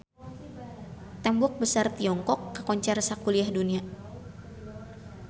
Tembok Besar Tiongkok kakoncara sakuliah dunya